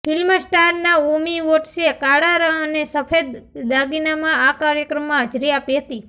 film star Naomi વોટ્સે કાળા અને સફેદ દાગીનામાં આ કાર્યક્રમમાં હાજરી આપી હતી